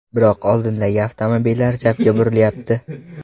Biroq oldindagi avtomobillar chapga burilyapti.